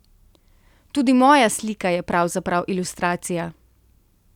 Tudi moja slika je pravzaprav ilustracija.